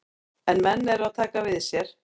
En menn eru að taka við sér.